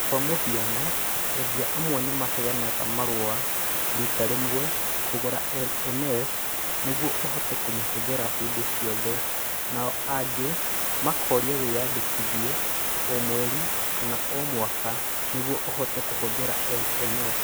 Kwa mũhiano, endia amwe nĩ maheanaga marũa rita rĩmwe kũgũra LMS nĩguo ũhote kũmĩhũthĩra hĩndĩ ciothe, nao angĩ makoria wĩyandĩkithie o mweri kana o mwaka nĩguo ũhote kũhũthĩra LMS.